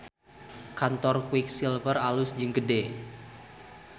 Kantor Quick Silver alus jeung gede